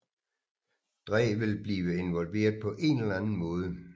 Dre ville blive involveret på en eller anden måde